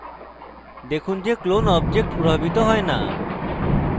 দেখুন যে clone object প্রভাবিত হয় না